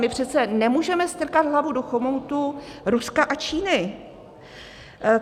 My přece nemůžeme strkat hlavu do chomoutu Ruska a Číny.